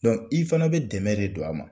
i fana bɛ dɛmɛ de don a ma